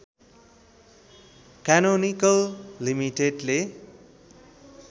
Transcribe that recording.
canonical लिमिटेडले